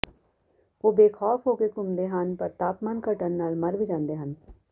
ਉਹ ਬੇਖੌਫ਼ ਹੋ ਕੇ ਘੁੰਮਦੇ ਹਨ ਪਰ ਤਾਪਮਾਨ ਘਟਣ ਨਾਲ ਮਰ ਵੀ ਜਾਂਦੇ ਹਨ